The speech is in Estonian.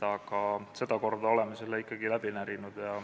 Aga sedakorda oleme selle kõik ikkagi läbi närinud.